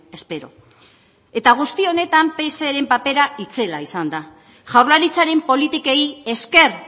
espero eta guzti honetan pseren papera itzela izan da jaurlaritzaren politikei esker